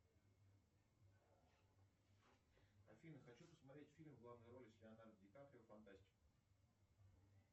афина хочу посмотреть фильм в главной роли с леонардо ли каприо фантастику